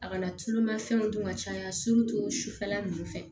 A kana tulumafɛnw dun ka caya sufɛla nunnu fɛ